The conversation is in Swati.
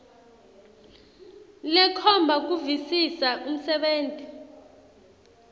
lekhomba kuvisisa umsebenti